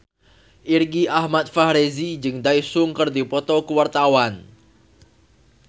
Irgi Ahmad Fahrezi jeung Daesung keur dipoto ku wartawan